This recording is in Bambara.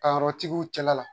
Tayɔrɔtigiw cɛla la.